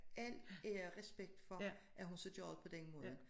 Al ære og respekt for at hun så gør det på den måde